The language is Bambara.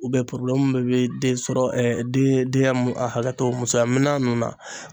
min bɛ den sɔrɔ den a hakɛ to musoya minɛnan ninnu na.